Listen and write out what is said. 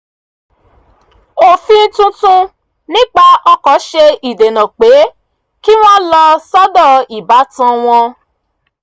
òfin tuntun nípa ọkọ̀ ṣe ìdènà pé kí wọ́n lọ sọ́dọ̀ ìbátan wọn